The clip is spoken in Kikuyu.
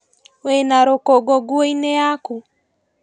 Wĩna rũkũngũ nguoinĩ yaku.